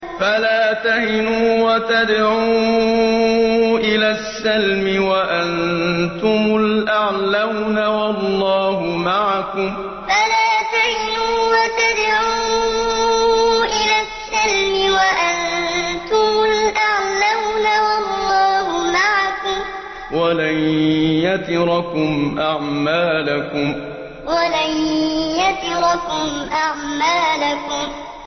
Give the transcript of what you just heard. فَلَا تَهِنُوا وَتَدْعُوا إِلَى السَّلْمِ وَأَنتُمُ الْأَعْلَوْنَ وَاللَّهُ مَعَكُمْ وَلَن يَتِرَكُمْ أَعْمَالَكُمْ فَلَا تَهِنُوا وَتَدْعُوا إِلَى السَّلْمِ وَأَنتُمُ الْأَعْلَوْنَ وَاللَّهُ مَعَكُمْ وَلَن يَتِرَكُمْ أَعْمَالَكُمْ